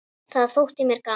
Það þótti mér gaman.